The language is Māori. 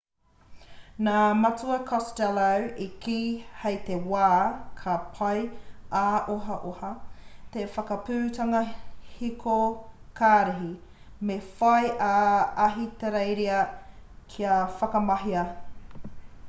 nā matua costello i kī hei te wā ka pai ā-ohaoha te whakaputanga hiko karihi me whai a ahitereiria kia whakamahia